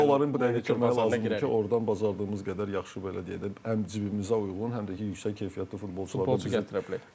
Əksinə bizə onların bu dəqiqə köməyi lazımdır ki, ordan bacardığımız qədər yaxşı belə deyək də, həm cibimizə uyğun, həm də ki yüksək keyfiyyətli futbolçuları biz gətirə bilək.